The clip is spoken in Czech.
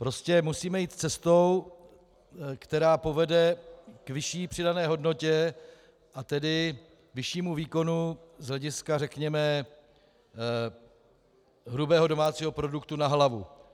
Prostě musíme jít cestou, která povede k vyšší přidané hodnotě, a tedy vyššímu výkonu z hlediska, řekněme, hrubého domácího produktu na hlavu.